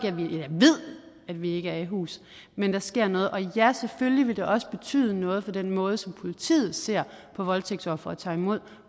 ved vi ikke er i hus men der sker noget og ja selvfølgelig ville det også betyde noget for den måde som politiet ser på voldtægtsofre og tager imod